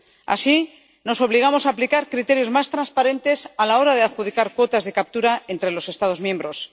Así, nos obligamos aplicar criterios más transparentes a la hora de adjudicar cuotas de captura entre los Estados miembros.